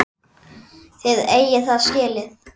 Þið eigið það skilið.